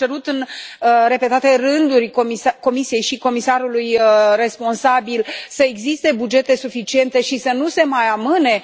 Am cerut în repetate rânduri Comisiei și comisarului responsabil să existe bugete suficiente și să nu se mai amâne